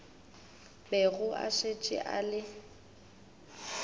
bego a šetše a le